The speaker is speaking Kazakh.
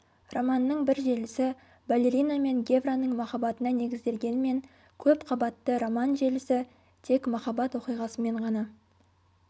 романның бір желісі балерина мен гевраның махаббатына негізделгенмен көп қабатты роман желісі тек махаббат оқиғасымен ғана